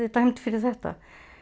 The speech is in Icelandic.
dæmd fyrir þetta